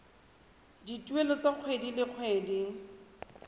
dituelo tsa kgwedi le kgwedi